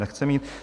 Nechce mít.